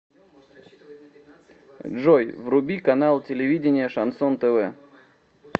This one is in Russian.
джой вруби канал телевидения шансон тв